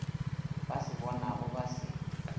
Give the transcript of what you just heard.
ba se bonago ba se